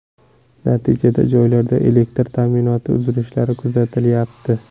Natijada joylarda elektr ta’minotida uzilishlar kuzatilyapti.